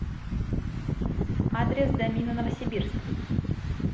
адрес домина новосибирск